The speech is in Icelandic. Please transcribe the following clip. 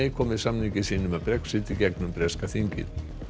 komi samningi sínum um Brexit í gegnum breska þingið